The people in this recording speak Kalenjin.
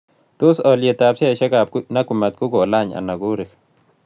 Tos' alyetap sheaisiekap nakumatt ko kolany alan korek